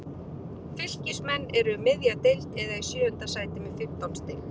Fylkismenn eru um miðja deild eða í sjöunda sæti með fimmtán stig.